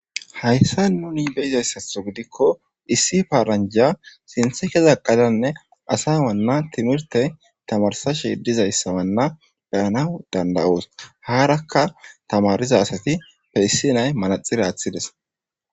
Hayssan nuni be'zaysato gidiko issi paranja sinthe keza eqadanne asa wanna timirte tamarsashe dizayssa wanna beyanaw danda'os harakka tamariza asatipe issinay manaxira atides.